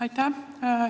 Aitäh!